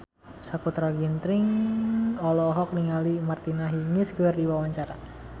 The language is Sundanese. Sakutra Ginting olohok ningali Martina Hingis keur diwawancara